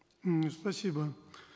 м спасибо